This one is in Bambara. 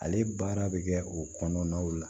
Ale baara bɛ kɛ o kɔnɔnaw la